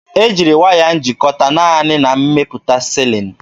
E jiri waya njikọta naanị na mmepụta silin.